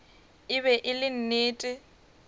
e be e le nnete